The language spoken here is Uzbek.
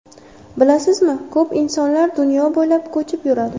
Bilasizmi, ko‘p insonlar dunyo bo‘ylab ko‘chib yuradi.